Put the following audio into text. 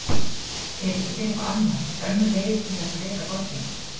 Er ekki til eitthvað annað, önnur leið til þess að reka borgina?